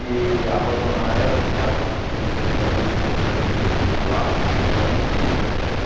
E abandonar ela, ficar uma semana, duas, três, depois ir lá. Pô não isso